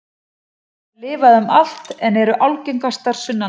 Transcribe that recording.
Þær lifa um allt land en eru algengastar sunnanlands.